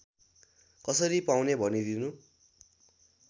कसरी पाउने भनिदिनु